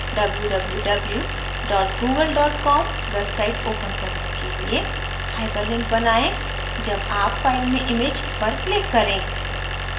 www google com website open करने के लिए hyperlink बनाएँ जब आप file में image पर click करें